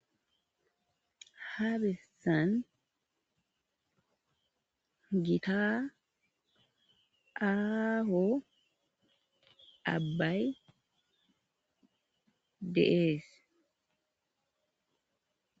Habessan gita aaaho abbay deees.